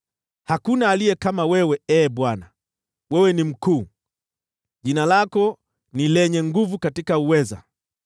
Hakuna aliye kama wewe, Ee Bwana ; wewe ni mkuu, jina lako ni lenye nguvu katika uweza.